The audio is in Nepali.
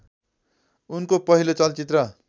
उनको पहिलो चलचित्र